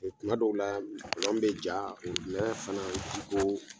O Kuma dɔw la kɔlɔn bi ja fana ji ko